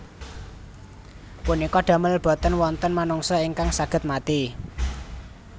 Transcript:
Punika damel boten wonten manungsa ingkang saged mati